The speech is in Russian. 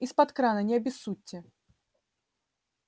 изпод крана не обессудьте